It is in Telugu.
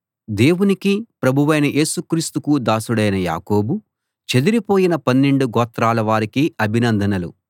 దేవునికి ప్రభువైన యేసు క్రీస్తుకు దాసుడైన యాకోబు చెదరిపోయిన పన్నెండు గోత్రాల వారికి అభినందనలు